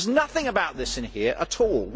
There is nothing about this in here at all.